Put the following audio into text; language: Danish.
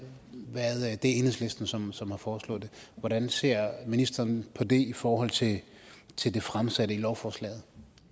enhedslisten som som har foreslået det hvordan ser ministeren på det i forhold til til det fremsatte lovforslag